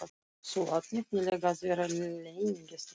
Þú átt nefnilega að vera leynigestur hjá okkur!